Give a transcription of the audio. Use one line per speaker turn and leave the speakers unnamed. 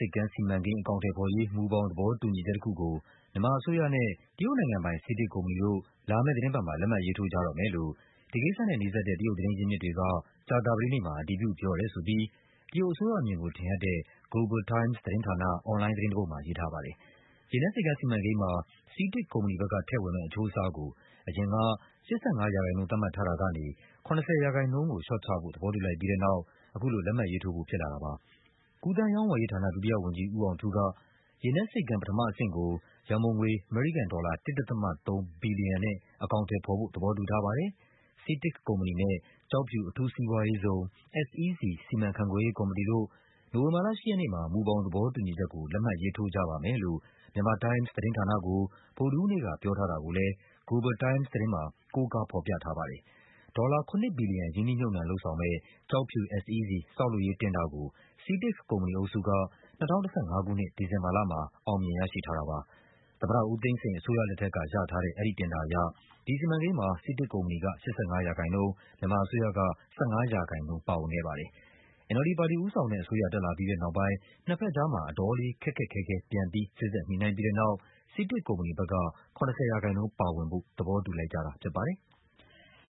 ပ်ကမ်းစီမံကိန်း အကောင်အထည်ဖော်ရေး မူဘောင်သဘောတူညီချက်တခုကို မြန်မာအစိုးရနဲ့ တရုတ်နိုင်ငံပိုင် CITIC ကုမ္ပဏီတို့ လာမယ့်သီတင်းပတ်မှာ လက်မှတ်ရေးထိုးကြတော့မယ်လို့ ဒီကိစ္စနဲ့နီးစပ်တဲ့ တရုတ် သတင်း ရင်းမြစ်တွေက ကြာသပတေးနေ့မှာ အတည်ပြု ပြောတယ်ဆိုပြီး တရုတ်အစိုးရအမြင်ကို ထင်ဟပ်တဲ့ Global Times သတင်းဌာန အွန်လိုင်း သတင်းတပုဒ်မှာ ရေးထားပါတယ်။ ရေနက်ဆိပ်ကမ်းစီမံကိန်းမှာ CITIC ကုမ္ပဏီဘက်က ထည့်ဝင်မယ့် အချိုးအစားကို အရင်က ၈၅% သတ်မှတ်ထားတာကနေ ၇၀% ကိုလျှော့ချဖို့ သဘောတူလိုက်ပြီးတဲ့နောက် အခုလို လက်မှတ်ထိုးဖို့ ဖြစ်လာတာပါ။ ကူးသန်းရောင်းဝယ်ရေးဌာန ဒုတိယဝန်ကြီး ဦးအောင်ထူးက “ရေနက်ဆိပ်ကမ်း ပထမအဆင့်ကို ရန်ပုံငွေ အမေရိကန်ဒေါ်လာ ၁.၃ ဘီလီယံနဲ့ အကောင်အထည်ဖော်ဖို့ သဘောတူထားပါတယ်။ CITIC ကုမ္ပဏီနဲ့ ကျောက်ဖြူ အထူးစီးပွားရေးဇုံ SEZ စီမံ ခန့်ခွဲရေးကော်မတီတို့ နိုဝင်ဘာလ ၈ ရက်နေ့မှာ မူဘောင်သဘောတူညီချက်ကို လက်မှတ်ရေးထိုးကြပါမယ်” လို့ Myanmar Times သတင်းဌာနကို ဗုဒ္ဓဟူုးနေ့က ပြောထားတာကိုလည်း Global Times သတင်းမှာ ကိုးကားဖော်ပြထားပါတယ်။ ဒေါ်လာ ၇ ဘီလီယံ ရင်းနှီးမြှုပ်နှံ လုပ်ဆောင်မယ့် ကျောက်ဖြူ SEZ ဆောက်လုပ်ရေး တင်ဒါကို CITIC ကုမ္ပဏီအုပ်စုက ၂၀၁၅ ခုနှစ် ဒီဇင်ဘာလမှာ အောင်မြင်ရရှိထားတာပါ။ သမ္မတဦးသိန်းစိန် အစိုးရလက်ထက်က ရထားတဲ့ အဲဒီတင်ဒါအရ ဒီစီမံကိန်းမှာ CITIC ကုမ္ပဏီက ၈၅%၊ မြန်မာအစိုးရက ၁၅% ပါဝင်ခဲ့ပါတယ်။ NLD ပါတီဦးဆောင်တဲ့အစိုးရ တက်လာပြီးတဲ့နောက်ပိုင်း နှစ်ဘက်ကြား အတော်လေး ခက်ခက်ခဲခဲ ပြန်ပြီး စေ့စပ်ညှိနှိုင်းပြီးတဲ့ နောက် CITIC ကုမ္ပဏီဘက်က ၇၀% ပါဝင်ဖို့ သဘောတူလိုက်ကြတာဖြစ်ပါတယ်။